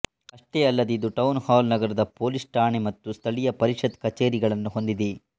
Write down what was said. ಅಷ್ಟೇ ಅಲ್ಲದೆ ಇದು ಟೌನ್ ಹಾಲ್ ನಗರ ಪೋಲೀಸ್ ಠಾಣೆ ಮತ್ತು ಸ್ಥಳೀಯ ಪರಿಷತ್ತು ಕಛೇರಿಗಳನ್ನು ಹೊಂದಿದೆ